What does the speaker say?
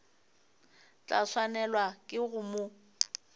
tla swanelwa ke go mo